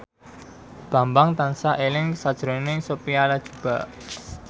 Bambang tansah eling sakjroning Sophia Latjuba